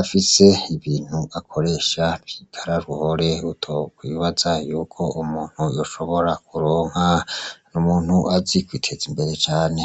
afise ibintu akoresha bitararuhore utokwibaza yuko umuntu yoshobora kuronka n'umuntu azi kwiteza imbere cane.